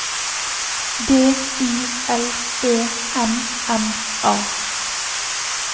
D I L E M M A